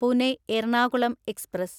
Pune Ernakulam express